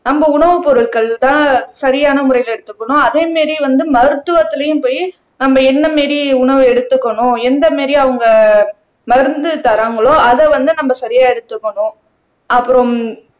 நம்ம உணவுப் பொருட்கள்தான் சரியான முறையில எடுத்துக்கணும் அதே மாதிரி வந்து மருத்துவத்துலயும் போயி நம்ம என்ன மாதிரி உணவு எடுத்துக்கணும் எந்த மாதிரி அவங்க மருந்து தராங்களோ அதை வந்து நம்ம சரியா எடுத்துக்கணும் அப்புறம்